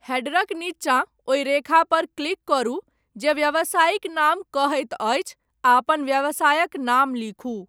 हैडरक नीचाँ ओहि रेखा पर क्लिक करू जे 'व्यावसायिक नाम' कहैत अछि आ अपन व्यवसायक नाम लिखू।